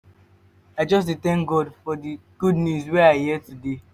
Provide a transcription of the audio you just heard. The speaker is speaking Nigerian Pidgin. i just dey tank god for di good news wey i hear today.